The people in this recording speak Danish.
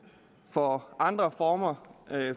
for andre former